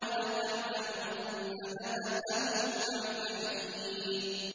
وَلَتَعْلَمُنَّ نَبَأَهُ بَعْدَ حِينٍ